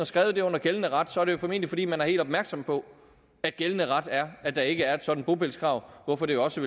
skrevet det under gældende ret er det jo formentlig fordi man er helt opmærksom på at gældende ret er at der ikke er et sådant bopælskrav hvorfor det jo også